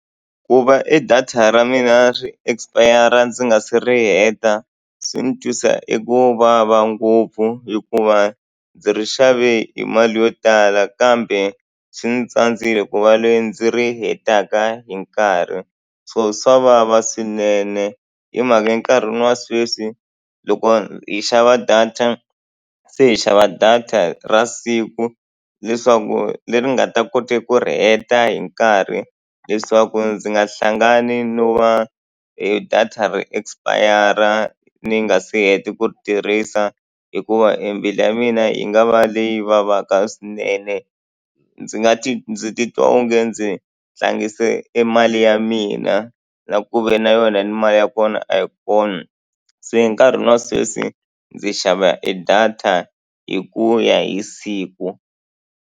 Ku va e data ra mina ri expire-a ndzi nga si ri heta, swi ni twisa eku vava ngopfu hikuva ndzi ri xave hi mali yo tala kambe swi ndzi tsandzekile ku va loyi ndzi ri hetaka hi nkarhi. So swa vava swinene. Hi mhaka enkarhini wa sweswi loko hi xava data se hi xava data ra siku, leswaku leri ni nga ta kota ku ri heta hi nkarhi leswaku ndzi nga hlangani no va data ri expire-a ni nga se heta ku ri tirhisa. Hikuva e mbilu ya mina yi nga va leyi vavaka swinene. Ndzi nga ndzi titwa onge ndzi tlangise e mali ya mina na ku ve na yona ni mali ya kona a yi kona. Se nkarhi wa sweswi ndzi xava e data hi ku ya hi siku.